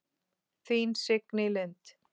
Þín Signý Lind.